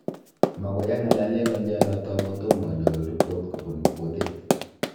Magoi ang'alale ng'alyonoto amu tomo anyoru rebot kobun botit